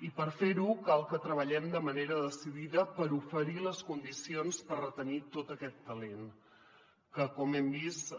i per fer·ho cal que treballem de manera decidida per oferir les condicions per retenir tot aquest talent que com hem vist i